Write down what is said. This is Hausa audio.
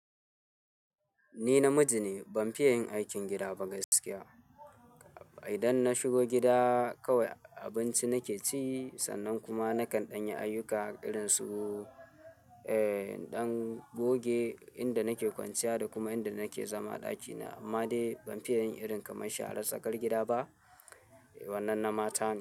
Ni namiji ne, ban fiye yin aikin gida ba gaskiya. Idan na shigo gida kawai abinci nake ci sannan kuma nakan ɗanye ayyuka irin su, eh, ɗan goge inda nake kwanciya da kuma inda nake zama a ɗakina. Amma dai ban fiye yin irin kamar sharar tsakar gida ba. Wannan na mata ne.